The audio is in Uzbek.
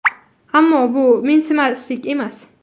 Ammo bu mensimaslik emas.